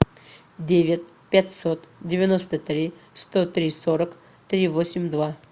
девять пятьсот девяносто три сто три сорок три восемь два